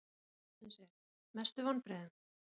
Spurning dagsins er: Mestu vonbrigðin?